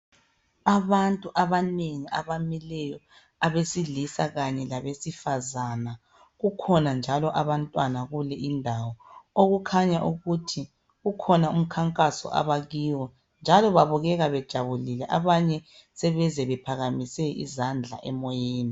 Abantu abanengi abamileyo, abesilisa kanye labesifazana kukhona njalo abantwana kule indawo, okukhaya ukuthi kukhona umkhankaso abakiwo njalo kubukeka bejabulile abanye sebeze bephakamise izandla emoyeni.